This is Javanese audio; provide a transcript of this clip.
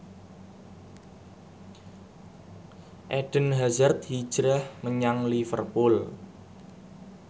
Eden Hazard hijrah menyang Liverpool